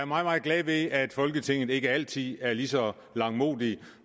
meget glad ved at folketinget ikke altid er ligeså langmodigt